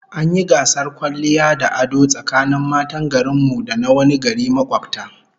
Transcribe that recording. An yi gasar kwalliya da ado tsakanin matan garin mu da na wani gari makobta